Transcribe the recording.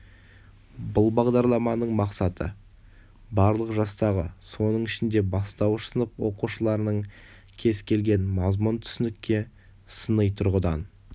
бұл бағдарламаның мақсаты барлық жастағы соның ішінде бастауыш сынып оқушыларының кез келген мазмұн түсінікке сыни тұрғыдан